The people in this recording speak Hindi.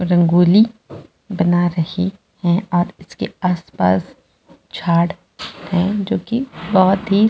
रंगोली बना रही है और उसके आस-पास झाड़ हैं जो की बहोत ही--